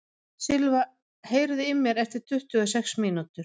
Silva, heyrðu í mér eftir tuttugu og sex mínútur.